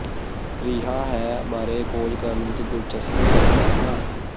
ਰਿਹਾ ਹੈ ਬਾਰੇ ਖੋਜ ਕਰਨ ਵਿੱਚ ਦਿਲਚਸਪੀ ਰੱਖਦਾ ਹਾਂ